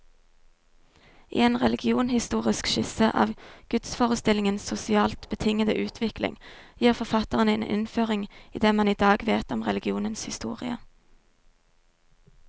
I en religionshistorisk skisse av gudsforestillingenes sosialt betingede utvikling, gir forfatteren en innføring i det man i dag vet om religionens historie.